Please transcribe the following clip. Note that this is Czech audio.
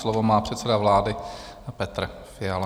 Slovo má předseda vlády Petr Fiala.